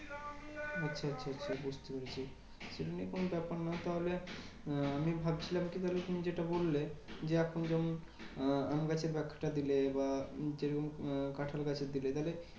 আচ্ছা আচ্ছা বুঝতে পেরেছি। এমনি কোনো ব্যাপার না। তাহলে আমি ভাবছিলাম কি ধরো তুমি যেটা বললে? যে এখন যেমন আহ আমগাছের একটা দিলে বা নিচে তুমি কাঁঠালগাছ ও দিলে তাহলে